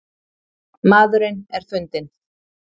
Maðurinn er fundinn